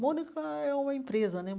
Mônaco é uma empresa né.